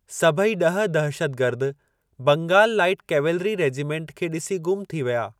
सभई ॾह दहशतगर्द बंगाल लाइट कैवेलरी रेजिमेंट खे ॾिसी गुम थी विया।